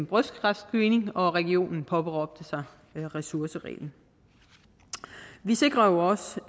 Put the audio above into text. brystkræftscreening og regionen påberåbte sig ressourcereglen vi sikrer også